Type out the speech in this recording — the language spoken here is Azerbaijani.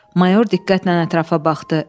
Mayor diqqətlə ətrafa baxdı.